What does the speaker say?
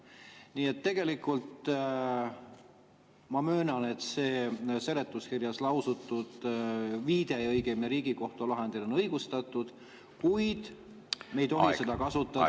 Nii et tegelikult ma möönan, et see seletuskirjas viide Riigikohtu lahendile on õigustatud, kuid me ei tohi seda kuritarvitada.